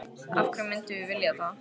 Af hverju myndum við vilja það?